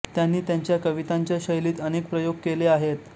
त्यांनी त्यांच्या कवितांच्या शैलीत अनेक प्रयोग केले आहेत